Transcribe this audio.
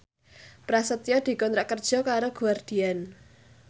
Prasetyo dikontrak kerja karo Guardian